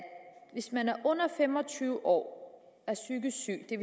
hvis man er under fem og tyve år og er psykisk syg det